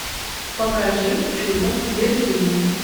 покажи чудо в берлине